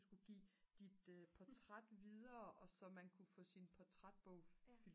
du skulle give dit portræt videre og så man kunne få sin portrætbog